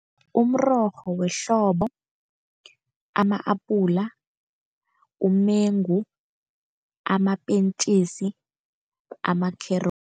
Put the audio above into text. Umrorho wehlobo, ama-apula, umengu, amapentjisi, amakherotsi.